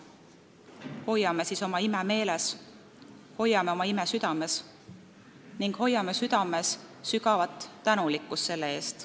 Hoiame siis oma ime meeles, hoiame oma ime südames ning hoiame südames sügavat tänulikkust selle eest.